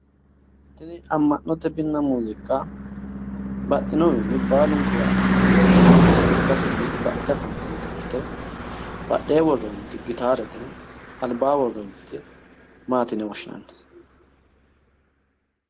Tini amma'note minna muuziiqa baxinohunni baalunkura leeltannokkita ikkasenni baxxite afantannote, badheenni worroonniti gitaaree, albaanni worrooyiiti maati yine woshshinanni?